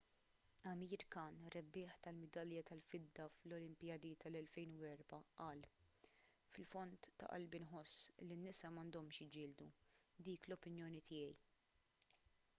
amir khan rebbieħ ta' midalja tal-fidda fl-olimpijadi tal-2004 qal fil-fond ta' qalbi nħoss li n-nisa m'għandhomx jiġġieldu dik l-opinjoni tiegħi